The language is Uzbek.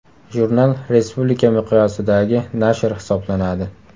Jurnal respublika miqyosidagi nashr hisoblanadi.